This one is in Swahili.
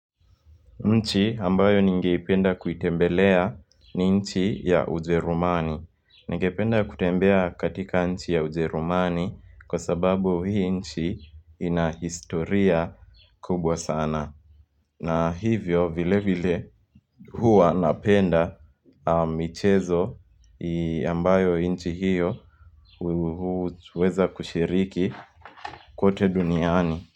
Nchi ambayo ningeipenda kuitembelea ni nchi ya ujerumani. Ningependa kutembea katika nchi ya ujerumani kwa sababu hii nchi inahistoria kubwa sana. Na hivyo vile vile huwa napenda michezo ambayo nchi hiyo huweza kushiriki kote duniani.